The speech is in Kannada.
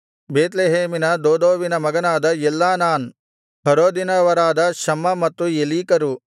ಬೇತ್ಲೆಹೇಮಿನ ದೋದೋವಿನ ಮಗನಾದ ಎಲ್ಹಾನಾನ್ ಹರೋದಿನವರಾದ ಶಮ್ಮ ಮತ್ತು ಎಲೀಕರು